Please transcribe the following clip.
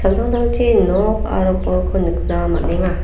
samtangtangchi nok aro bolko nikna man·enga.